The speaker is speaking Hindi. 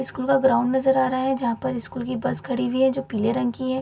स्कूल का ग्राउंड नजर आ रहा है जहाँ पर स्कूल की बस खड़ी हुई है जो पिले रंग की है।